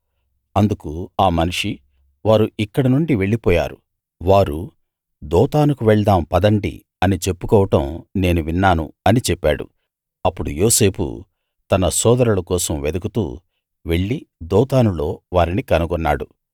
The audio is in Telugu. అందుకు ఆ మనిషి వారు ఇక్కడి నుండి వెళ్ళిపోయారు వారు దోతానుకు వెళ్దాం పదండి అని చెప్పుకోవడం నేను విన్నాను అని చెప్పాడు అప్పుడు యోసేపు తన సోదరుల కోసం వెదుకుతూ వెళ్ళి దోతానులో వారిని కనుగొన్నాడు